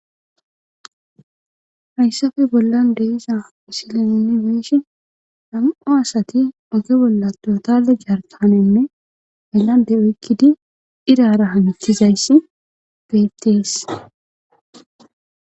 Hayssafe bollan deiza misileneni weeshi nam'o asati oge bolla dotale jartanenne ollan deoykkidi iraara hamitizayssi beettees.